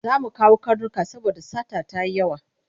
Za mu kawo karnuka saboda sata ta yi yawa.